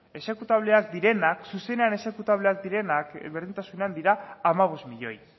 exekutableak direnak zuzenean exekutableak direnak berdintasunean dira hamabost milioi